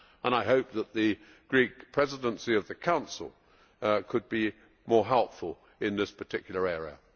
I hope that the Greek Presidency of the Council could be more helpful in this particular area.